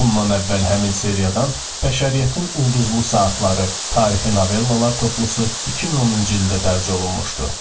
Bundan əvvəl həmin seriyadan Bəşəriyyətin Ulduzlu Saatları, Tarixi Novellalar Toplusu 2010-cu ildə dərc olunmuşdu.